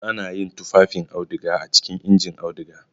Ana yin tufafin auduga a cikin injin auduga.